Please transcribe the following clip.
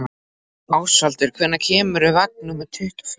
Ásvaldur, hvenær kemur vagn númer tuttugu og fjögur?